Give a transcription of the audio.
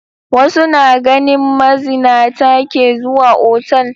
Wasu na ganin mazinata ke zuwa otal.